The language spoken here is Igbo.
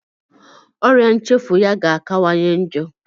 Ọria nchefu ya ga-akawanye njọ.